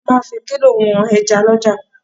Wọ́n máa ń fi kílò wọn ẹja lọ́jà.